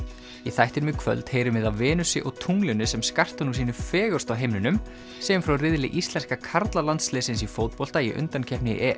í þættinum í kvöld heyrum af Venusi og tunglinu sem skarta nú sínu fegursta á himninum segjum frá riðli íslenska karlalandsliðsins í fótbolta í undankeppni